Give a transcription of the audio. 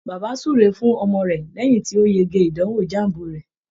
Bàbá ń súre fún ọmọ rẹ̀ lẹ́yìn tí ó yege ìdànwò JAMB rẹ̀